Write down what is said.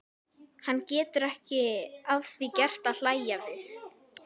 Hann getur ekki að því gert að hlæja við.